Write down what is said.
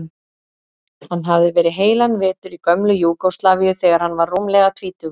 Hann hafði verið heilan vetur í gömlu Júgóslavíu þegar hann var rúmlega tvítugur.